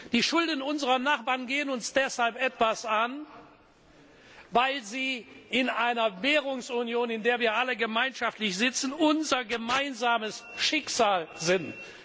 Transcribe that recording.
Die Schulden unserer Nachbarn gehen uns deshalb etwas an, weil sie in einer Währungsunion, in der wir alle gemeinschaftlich sitzen, unser gemeinsames Schicksal sind.